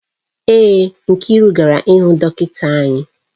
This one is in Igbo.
Èé, Nkiru gara ịhụ dọkịta anya